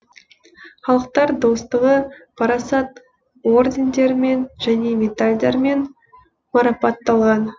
халықтар достығы парасат ордендерімен және медальдармен марапатталған